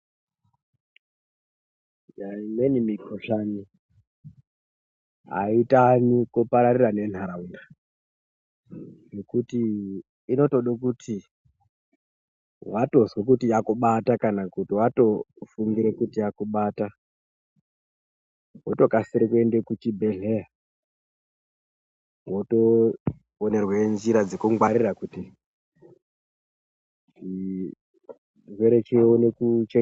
Imweni mukhohlani aitani kupararira nenharaunda nekuti inotoda kuti watozwa kuti yakubata kana kuti watofungira kuti yakubata wotokasira kuenda kuchibhedhleya wotoonerwa njira dzekungwarira dzemene. Chirwere chione kuchengetedzeka.